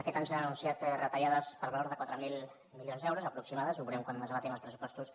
aquest any s’han anunciat retallades per valor de quatre mil milions d’euros aproximats ho veurem quan es debatin els pressupostos